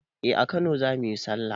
Eh a kano zamuyi sallah